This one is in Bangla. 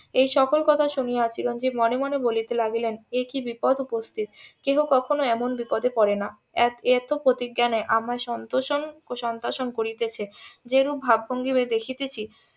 এই সকল কথা শুনিয়া চিরঞ্জিব মনে মনে বলিতে লাগিলেন একি বিপদ উপস্থিত কেহ কখনো এমন বিপদে পরে না এত পতিজ্ঞানে আমার সন্তোষণ . করিতেছে যেরূপ ভাব ভঙ্গিমায় দেখিতেছি